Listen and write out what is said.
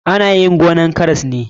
Ana yin gonan karas ne.